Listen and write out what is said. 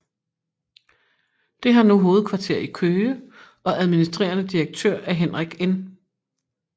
Det har nu hovedkvarter i Køge og administrerende direktør er Henrik N